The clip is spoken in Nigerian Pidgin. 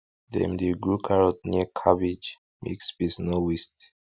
dem dey grow carrot near cabbage make space no waste